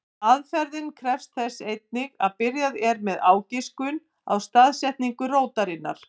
Aðferðin krefst þess einnig að byrjað er með ágiskun á staðsetningu rótarinnar.